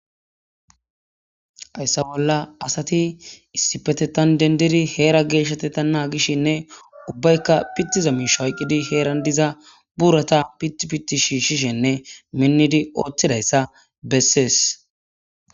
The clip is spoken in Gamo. Hayssa bolla asati issi petetan dendiri heera geeshshatetanna gishshinne ubbaykka pittiza mish hayqqidi heeran diza burata pitpitti shiishishenne minnidi ooththidayssa bessees